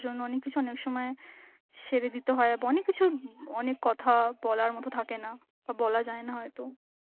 জন্য অনেক কিছু অনেক সময় ছেড়ে দিতে হয়, অনেক কিছু~ ব অনেক কথা বলার মতন থাকে না বা বলা যায় না হয়তো.